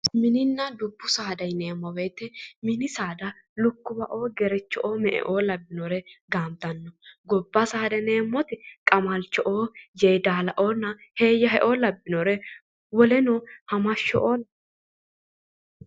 Mininna dubbu saada yineemmo woyite mini saada lukkuwaoo gerecho"oo me"eoo labbinore gaantanno. Gobba saada yineemmoti qamalcho"oo yeedalaoonna heeyyaheoo labbinore woleno hamashsho"oo labbinoreeti.